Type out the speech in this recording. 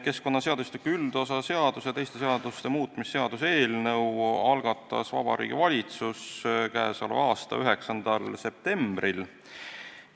Keskkonnaseadustiku üldosa seaduse ja teiste seaduste muutmise seaduse eelnõu algatas Vabariigi Valitsus k.a 9. septembril.